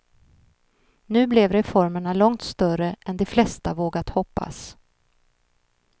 Nu blev reformerna långt större än de flesta vågat hoppas.